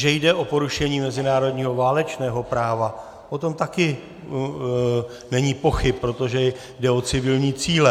Že jde o porušení mezinárodního válečného práva, o tom taky není pochyb, protože jde o civilní cíle.